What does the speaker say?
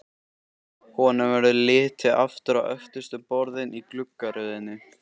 Honum verður litið aftur á öftustu borðin í gluggaröðinni.